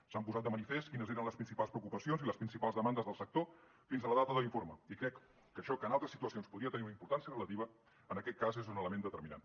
s’han posat de manifest quines eren les principals preocupacions i les principals demandes del sector fins a la data de l’informe i crec que això que en altres situacions podria tenir una importància relativa en aquest cas és un element determinant